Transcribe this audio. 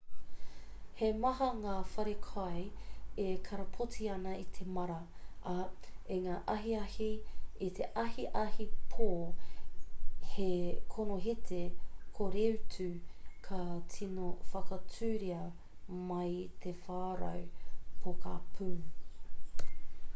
he maha ngā wharekai e karapoti ana i te māra ā i ngā ahiahi i te ahiahi pō he konohete koreutu ka tino whakatūria mai i te whārau pokapū